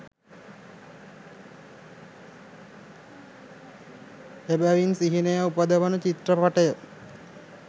එබැවින් සිහිනය උපදවන චිත්‍රපටය